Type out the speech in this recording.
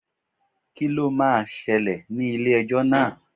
Kí lo máa ṣẹlẹ̀ ní ilé ẹjọ́ náà?